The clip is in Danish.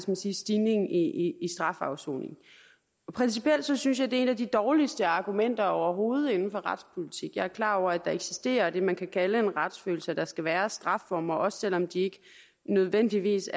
man sige stigning i strafafsoning principielt synes synes jeg det er et af de dårligste argumenter overhovedet inden for retspolitik jeg er klar over at der eksisterer det man kan kalde en retsfølelse og at der skal være strafformer også selv om de ikke nødvendigvis